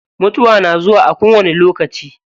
Mutuwa na zuwa a kowani lokaci.